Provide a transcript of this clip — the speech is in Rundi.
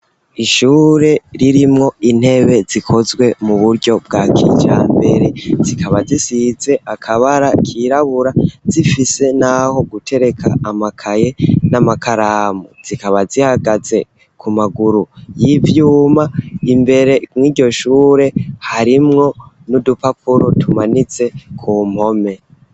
Ishure ririmwo intebe zikozwe mu buryo bwa kijambere zikaba zisize akabara kirabura zifise n'aho gutereka amakaye n'amakaramu zikaba zihagaze ku maguru y'ivyuma imbere nk'iryo shure harimwo n'udupapuro tumanitse ku mpome.